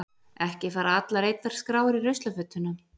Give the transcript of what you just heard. Ekki fara allar eyddar skrár í ruslafötuna.